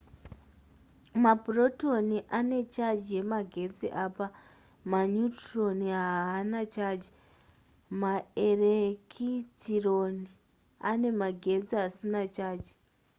mapurotoni anecharge yemagetsi apa maneutron haana chaji maerekitirone anemagetsi asina chaji